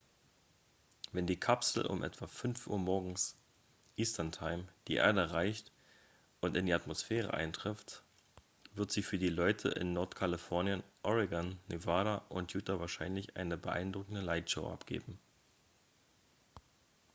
wenn die kapsel um etwa 5 uhr morgens eastern time die erde erreicht und in die atmosphäre eintritt wird sie für die leute in nordkalifornien oregon nevada und utah wahrscheinlich eine beeindruckende lightshow abgeben